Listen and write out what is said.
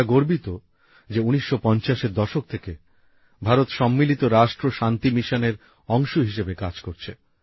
আমরা গর্বিত যে ১৯৫০এর দশক থেকে ভারত সম্মিলিত রাষ্ট্র শান্তি মিশনের অংশ হিসেবে কাজ করছে